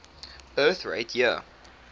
birth rate year